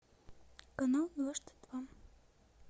канал дважды два